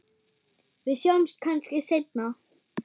Við sjáumst kannski seinna.